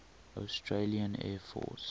australian air force